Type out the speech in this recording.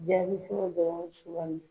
Jaabi fɔlɔ bɛ sugandi.